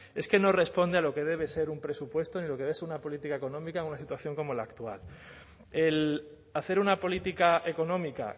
es que no responde a lo que debe ser un presupuesto ni a lo que debe ser una política económica en una situación como la actual el hacer una política económica